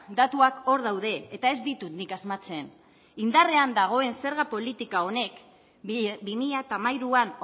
datuak hor daude eta ez ditut nik asmatzen indarrean dagoen zerga politika honek bi mila hamairuan